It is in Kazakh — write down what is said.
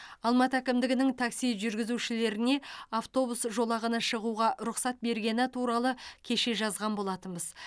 алматы әкімдігінің такси жүргізушілеріне автобус жолағына шығуға рұқсат бергені туралы кеше жазған болатынбыз